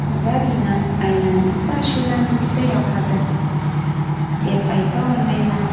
Zarina: Aynan bitta ashulani juda yoqadi, deb ayta olmayman.